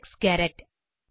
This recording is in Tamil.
Alex Garrett